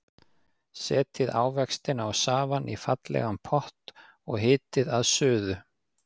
Setjið ávextina og safann í fallegan pott og hitið að suðu.